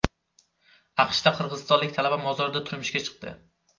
AQShda qirg‘izistonlik talaba mozorda turmushga chiqdi.